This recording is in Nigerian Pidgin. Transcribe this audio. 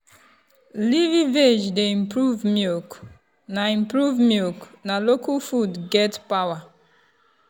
leafy veg dey improve milk na improve milk na local food get power.